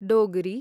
Dogri